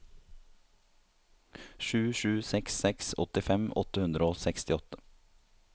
sju sju seks seks åttifem åtte hundre og sekstiåtte